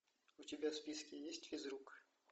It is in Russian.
у тебя в списке есть физрук